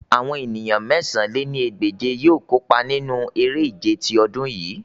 Awọn eniyan mẹ̀sán lé ní ẹgbẹ́je yoo kopa ninu ere-ije ti ọdun yii